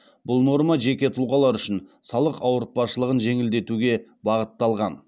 бұл норма жеке тұлғалар үшін салық ауыртпашылығын жеңілдетуге бағытталған